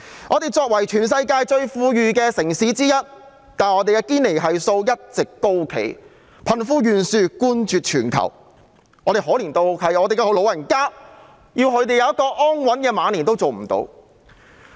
我們作為全世界最富裕的城市之一，但堅尼系數一直高企，貧富懸殊冠絕全球，可憐得連讓老人家安享晚年也做不到。